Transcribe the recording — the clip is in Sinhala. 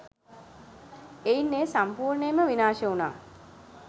එයින් එය සම්පූර්නයෙන්ම විනාශ උනා